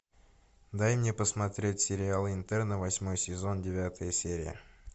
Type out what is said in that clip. дай мне посмотреть сериал интерны восьмой сезон девятая серия